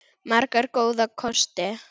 Marga góða kosti.